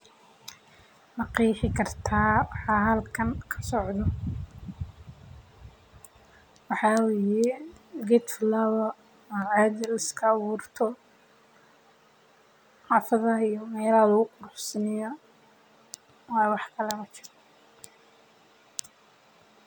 Ma qeexi kartaa waxa halkan kasocdo waxa waye waqtiga safarka suuqa ee bankiga wuxuuna siinaya adeegsadaha amni ayeey mujini haayan.